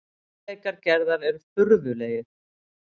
Hæfileikar Gerðar eru furðulegir.